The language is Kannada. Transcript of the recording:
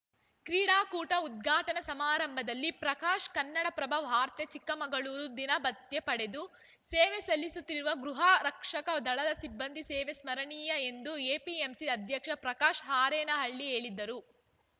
ಕ್ರೀಡಾಕೂಟ ಉದ್ಘಾಟನಾ ಸಮಾರಂಭದಲ್ಲಿ ಪ್ರಕಾಶ್‌ ಕನ್ನಡಪ್ರಭ ವಾರ್ತೆ ಚಿಕ್ಕಮಗಳೂರು ದಿನಭತ್ಯೆ ಪಡೆದು ಸೇವೆ ಸಲ್ಲಿಸುತ್ತಿರುವ ಗೃಹರಕ್ಷಕ ದಳದ ಸಿಬ್ಬಂದಿ ಸೇವೆ ಸ್ಮರಣೀಯ ಎಂದು ಎಪಿಎಂಸಿ ಅಧ್ಯಕ್ಷ ಪ್ರಕಾಶ್‌ ಆರೇನಹಳ್ಳಿ ಹೇಳಿದರು